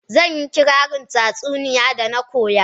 Zan yi kirarin tatsauniya da na koya.